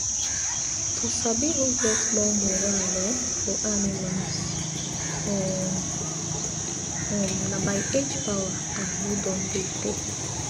to sabi who get more moral um for animals um um na by age power and who don dey tey